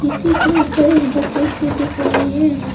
इसी के ऊपर एक बकेट भी देख रही है।